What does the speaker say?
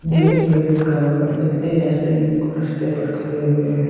Bag भी हुआ व्यक्ति रास्ते में रास्ते पर खड़े हुए हैं।